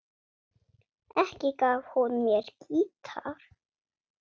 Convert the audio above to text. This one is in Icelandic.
Ekki gaf hún mér gítar.